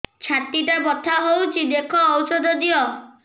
ଛାତି ଟା ବଥା ହଉଚି ଦେଖ ଔଷଧ ଦିଅ